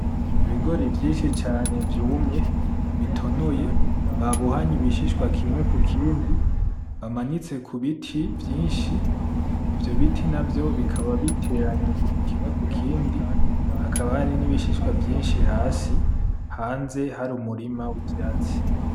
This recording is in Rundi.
Ibigori vyinshi cane vyumye bitonoye babohanye ibishishwa kimwe ku kindi bamanitse kubiti vyinshi ivyo biti bikaba biteranye kimwe kukindi hakaba hari nibishishwa vyinshi hasi hanze hari umurima w'ivyatsi .